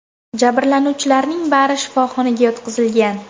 Jabrlanuvchilarning bari shifoxonaga yotqizilgan.